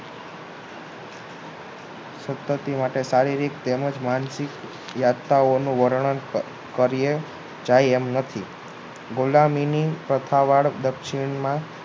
સતતતી માટે સારી રીતે તેમ જ માનસિકતા ઓનું વર્ણન કરીએ જાય એમ નથી ગુલામીની તથા વાર દક્ષિણમાં